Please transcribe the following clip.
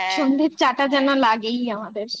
হ্যাঁ সন্ধের চা টা যেন লাগেই আমাদের